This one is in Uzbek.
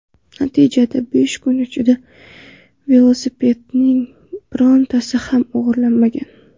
Natijada besh kun ichida velosipedlarning birontasi ham o‘g‘irlanmagan.